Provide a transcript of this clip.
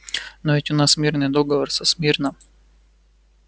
но ведь у нас мирный договор со смирно